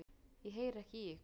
Ég heyri ekki í ykkur.